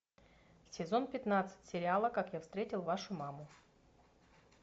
сезон пятнадцать сериала как я встретил вашу маму